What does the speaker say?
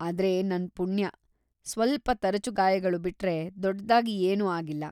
ಆದ್ರೆ‌ ನನ್ ಪುಣ್ಯ, ಸ್ವಲ್ಪ ತರಚು ಗಾಯಗಳು ಬಿಟ್ರೆ ದೊಡ್ಡಾಗಿ ಏನೂ ಆಗಿಲ್ಲ.